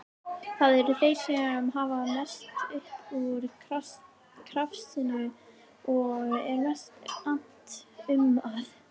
Það eru þeir sem hafa mest upp úr krafsinu og er mest annt um að